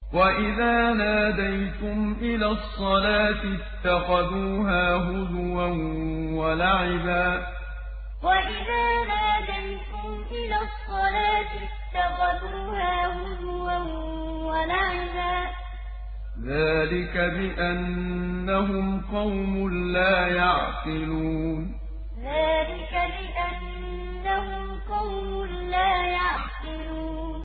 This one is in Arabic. وَإِذَا نَادَيْتُمْ إِلَى الصَّلَاةِ اتَّخَذُوهَا هُزُوًا وَلَعِبًا ۚ ذَٰلِكَ بِأَنَّهُمْ قَوْمٌ لَّا يَعْقِلُونَ وَإِذَا نَادَيْتُمْ إِلَى الصَّلَاةِ اتَّخَذُوهَا هُزُوًا وَلَعِبًا ۚ ذَٰلِكَ بِأَنَّهُمْ قَوْمٌ لَّا يَعْقِلُونَ